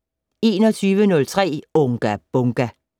21:03: Unga Bunga!